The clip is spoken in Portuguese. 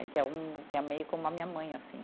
que é meio como a minha mãe, assim.